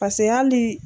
Paseke hali